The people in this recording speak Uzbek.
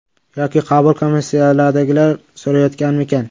Yoki qabul komissiyasidagilar so‘rayotganmikan?